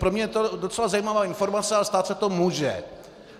Pro mě je to docela zajímavá informace, ale stát se to může.